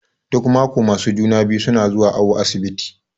Duk maƙo masu juna-biyu suna zuwa awu asibiti.